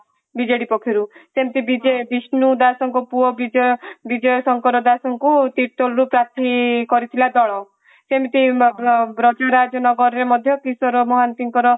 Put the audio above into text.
BJD ପକ୍ଷରୁ ସେମିତି ବିଷ୍ଣୁ ଦାସଙ୍କ ପୁଅ ବିଜୟ ବିଜୟ ଶଙ୍କର ଦାସଙ୍କୁ ତିର୍ତୋଲ ପାର୍ଥୀ କରିଥିଲା ଦଳ ସେମିତି ମଦୁଆ ବ୍ରଜରାଜ ନଗରରେ ମଧ୍ୟ କିଶୋର ମହାନ୍ତି ଙ୍କର